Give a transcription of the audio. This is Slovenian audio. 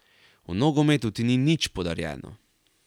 V nogometu ti ni nič podarjeno.